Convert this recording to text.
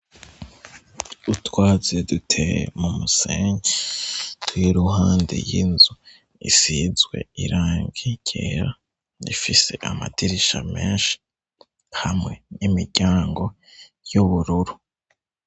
Utwatsi duteye mu musenyi, w'iruhande y'inzu, isizwe irangi ryera, ifise amadirisha menshi hamwe n'imiryango y'ubururu.